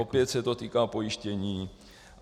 Opět se to týká pojištění.